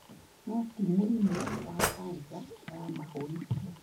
No ti mũrimũ wa kanca ya mahũri tu.